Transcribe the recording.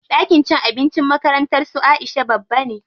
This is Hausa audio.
Ɗakin cin abincin makarantar su Aisha babba ne.